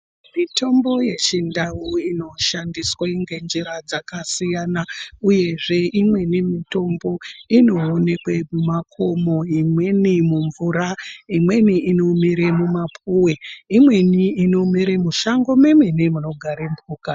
Mitombo yechiNdau inoshandiswa ngenzira dzakasiyana uyezve imweni mitombo inoonekwa mumakomo imweni mumvura imweni inomera mumapuwe imweni inomera mushango munogara mhuka